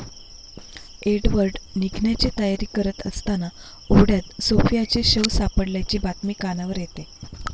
Edward निघण्याची तयारी करत असताना ओढ्यात सोफियाचे शव सापडल्याची बातमी कानावर येते.